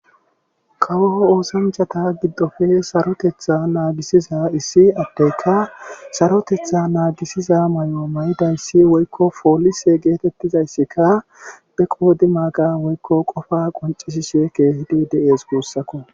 Kawo oosanchata giddofe sarotetha naagisiza issi addeyka sarosetha naagisiza mayo mayidayssi woykkopoolise geetettidayssika be qoodimaaga woykko qofaa qonccisishe keehidi de7ees guussako.